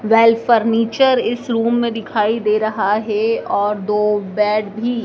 well furniture इस room मैं दिखाई दे रहा हैं और दो बेड भी--